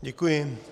Děkuji.